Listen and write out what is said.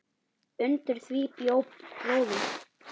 Undir því bjó bróðir